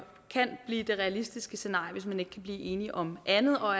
kan blive det realistiske scenarie hvis man ikke kan blive enige om andet og